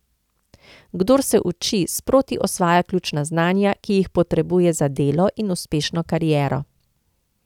Kdor se uči, sproti osvaja ključna znanja, ki jih potrebuje za delo in uspešno kariero.